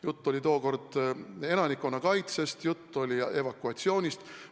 Jutt oli tookord elanikkonnakaitsest, jutt oli evakuatsioonist.